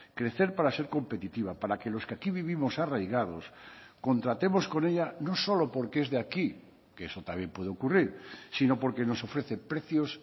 crecer para ser competitiva para que los que aquí vivimos arraigados contratemos con ella no solo porque es de aquí que eso también puede ocurrir sino porque nos ofrece precios